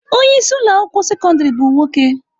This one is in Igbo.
Onye isi ụlọ akwụkwọ sekọndrị bụ nwoke.